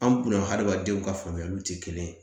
An kunna hadamadenw ka faamuyaliw tɛ kelen ye